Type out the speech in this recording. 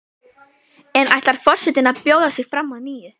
En ætlar forsetinn að bjóða sig fram að nýju?